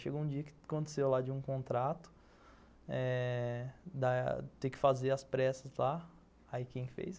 Chegou um dia que aconteceu lá de um contrato eh, ter que fazer as pressas lá, aí quem fez?